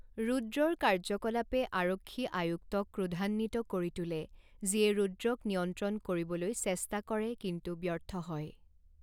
ৰুদ্ৰৰ কাৰ্য্যকলাপে আৰক্ষী আয়ুক্তক ক্ৰোধান্বিত কৰি তোলে, যিয়ে ৰুদ্ৰক নিয়ন্ত্ৰণ কৰিবলৈ চেষ্টা কৰে কিন্তু ব্যৰ্থ হয়।